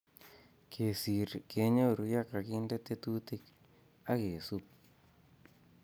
Kesir kenyoru ye kakinde tetutik ak kesup